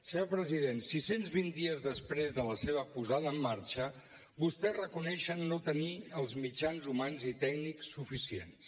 senyor president sis cents i vint dies després de la seva posada en marxa vostès reconeixen no tenir els mitjans humans i tècnics suficients